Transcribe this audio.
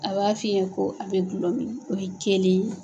A b'a f'i ye ko a bɛ gulɔ min o ye kelen ye.